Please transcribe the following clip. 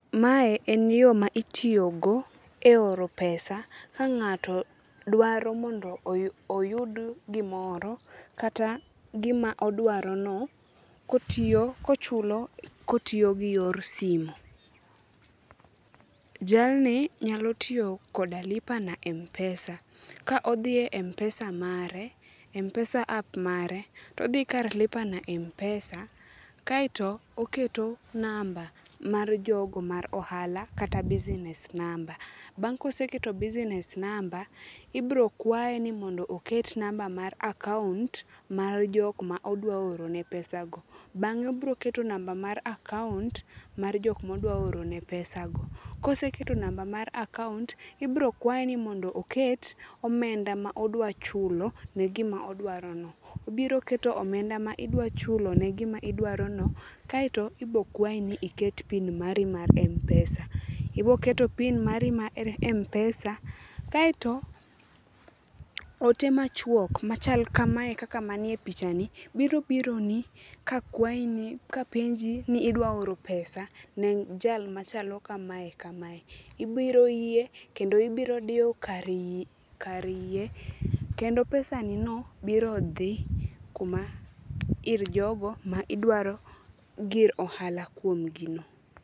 Mae en yo ma itiyogo e oro pesa ka ng'ato dwaro mondo oyud gimoro, kata gima odwarono kotiyogi yor simo. Jalni nyalo tiyo koda lipa na mpesa. Ka odhiye mpesa mare, mpesa app mare, todhi kar lipa na mpesa mare, kaeto oketo namba mar jogo mar ohala kata business number. Bang' koseketo business number, ibro kwaye ni mondo oket namba mar akaon,t mar jokma odwa orone pesago. Bang'e obroketo namba mar akaont mar jokmodwaorone pesago. Koseketo namba mar akaont, ibro kwaye ni mondo oket omenda ma odwachulo ne gima odwarono. Obiro keto omenda ma idwachulono ne gima idwarono, kaeto ibo kwayi ni iket pin mari mar mpesa. Iboketo pin mari mar mpesa, kaeto ote machuok machal kamae kaka manie pichani biro bironi ka penji ni idwa oro pesa ne jal machalo kamae kamae. Ibiro yie kendo ibiro diyo kar yie kendo pesanino biro dhi ir jogo ma idwaro gir ohala kuomgi no.